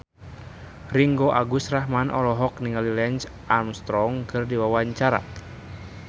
Ringgo Agus Rahman olohok ningali Lance Armstrong keur diwawancara